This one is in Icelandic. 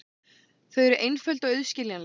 Þau eru einföld og auðskiljanleg.